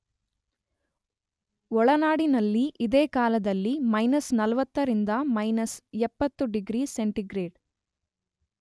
ಒಳನಾಡಿನಲ್ಲಿ ಇದೇ ಕಾಲದಲ್ಲಿ ಮಯ್ನಸ್ 40 ರಿಂದ ಮಯ್ನಸ್ 70 ಡಿಗ್ರಿ ಸೆಂಟಿಗ್ರೇಡ್